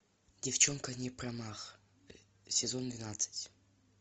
девчонка не промах сезон двенадцать